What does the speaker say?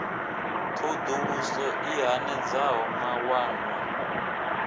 thoḓ uluso i hanedzaho mawanwa